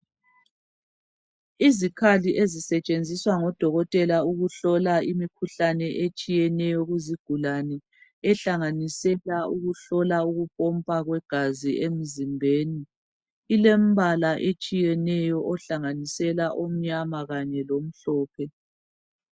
Izikhali ezisetshenziswa ngodokotela ukuhlola imikhuhlane etshiyeneyo kuzigulane ehlanganisela ukuhlola ukupompa kwegazi emzimbeni ilembala etshiyeneyo ohlanganisela omnyama lomhlophe.